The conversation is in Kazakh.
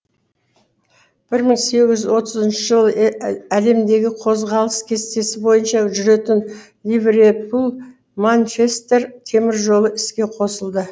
бір мың сегіз жүз отызыншы жылы әлемдегі қозғалыс кестесі бойынша жүретін ливрепуль манчестер темір жолы іске қосылды